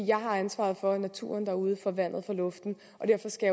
jeg har ansvaret for naturen derude for vandet for luften og derfor skal